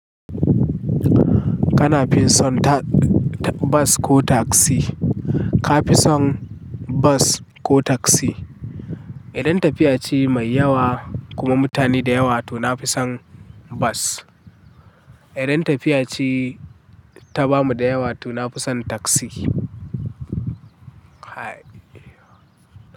Kana fi son ta bas ko taksi? Ka fi son bas ko taksi? Idan tafiya ce mai yawa kuma mutane da yawa to na fi son bas. Idan tafiya ce ta bamu da yawa to na fi son taksi.